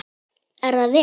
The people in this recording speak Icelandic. Er það vel!